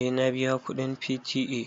Eh na biya kuɗin P.T.A.